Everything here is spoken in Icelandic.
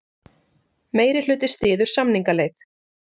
Meirihluti styður samningaleið